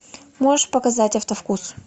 можешь показать автовкус